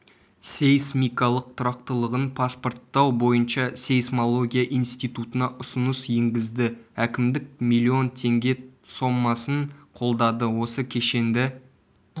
сейсмикалық тұрақтылығын паспорттау бойынша сейсмология институтына ұсыныс енгізді әкімдік млн теңге сомасын қолдады осы кешенді